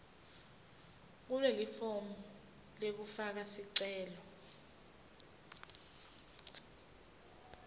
kulelifomu lekufaka sicelo